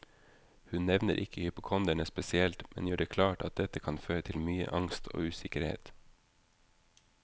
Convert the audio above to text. Hun nevner ikke hypokonderne spesielt, men gjør det klart at dette kan føre til mye angst og usikkerhet.